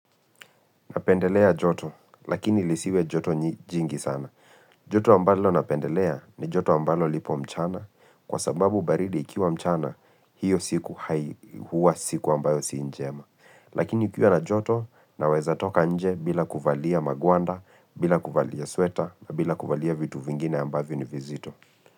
Napendelea joto, lakini ilisiwe joto jingi sana. Joto ambalo napendelea ni joto ambalo lipo mchana kwa sababu baridi ikiwa mchana hiyo siku hua siku ambayo si njema. Lakini ikiwa na joto na weza toka nje bila kuvalia magwanda, bila kuvalia sweta, bila kuvalia vitu vingine ambavyo ni vizito.